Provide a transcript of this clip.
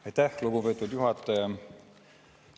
Aitäh, lugupeetud juhataja!